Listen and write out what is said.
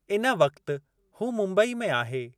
इन वक्ति हू मुंबई में आहे।